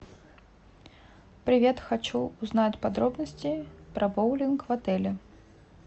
привет хочу узнать подробности про боулинг в отеле